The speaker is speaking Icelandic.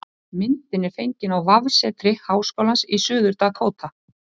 Myndin er fengin á vefsetri Háskólans í Suður-Dakóta